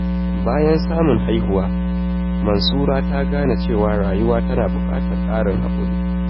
Bayan samun haihuwa, Mansura ta gane cewa rayuwa tana buƙatar ƙarin haƙuri.